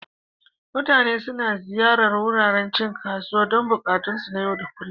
Mutane suna ziyartar wuraren cin kasuwa don buƙatunsu na yau da kullun.